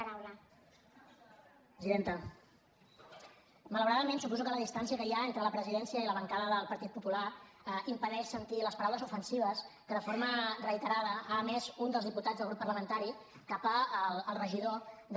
malauradament suposo que la distància que hi ha entre la presidència i la bancada del partit popular impedeix sentir les paraules ofensives que de forma reiterada ha emès un dels diputats del grup parlamentari cap al regidor de